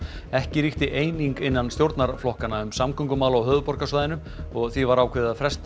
ekki ríkti eining innan stjórnarflokkanna um samgöngumál á höfuðborgarsvæðinu og því var ákveðið að fresta